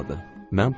Mən pıçıldadım.